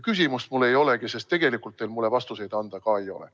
Küsimust mul ei olegi, sest tegelikult teil mulle vastuseid anda ka ei ole.